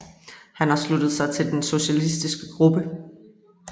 Hun har tilsluttet sig Den socialistiske gruppe